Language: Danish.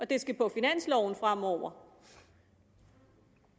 det skal på finansloven fremover